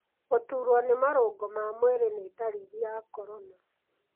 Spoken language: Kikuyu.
Gũturwo nĩ marũngo ma mwĩri nĩ ndariri ya corona.